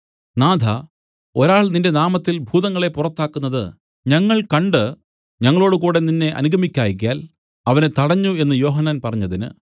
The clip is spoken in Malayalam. നാഥാ ഒരാൾ നിന്റെ നാമത്തിൽ ഭൂതങ്ങളെ പുറത്താക്കുന്നത് ഞങ്ങൾ കണ്ട് ഞങ്ങളോടുകൂടെ നിന്നെ അനുഗമിക്കായ്കയാൽ അവനെ തടഞ്ഞു എന്ന് യോഹന്നാൻ പറഞ്ഞതിന്